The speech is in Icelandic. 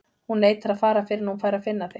Hún neitar að fara fyrr en hún fær að finna þig.